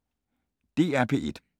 DR P1